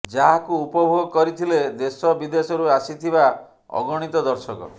ଯାହାକୁ ଉପଭୋଗ କରିଥିଲେ ଦେଶ ବିଦେଶରୁ ଆସିଥିବା ଅଗଣିତ ଦର୍ଶକ